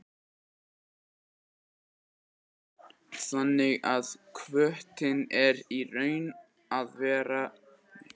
Jón Örn Guðbjartsson: Þannig að kvótinn er í raun og veru einhver óljós stærð?